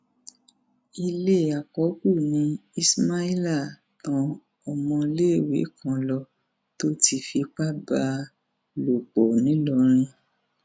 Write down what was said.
ilé àkọkù ni ismaila tan ọmọọléèwé kan lọ tó ti fipá bá a lò pọ ńìlọrin